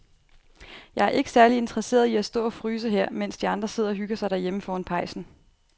Jeg er ikke særlig interesseret i at stå og fryse her, mens de andre sidder og hygger sig derhjemme foran pejsen.